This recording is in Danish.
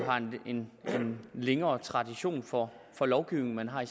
en længere tradition for lovgivning end man har i